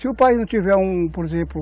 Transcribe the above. Se o país não tiver, por exemplo,